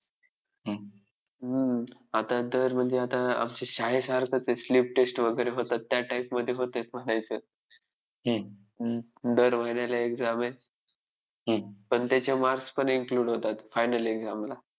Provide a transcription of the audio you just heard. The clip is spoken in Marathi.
हम्म! आता तर म्हणजे आता आमच्या शाळेसारखंच आहे sleep test वगैरे होतात, त्या type मध्ये होतंय म्हणायचं. हम्म दर महिन्याला exam आहे. पण त्याचे marks पण include होतात final exam ला!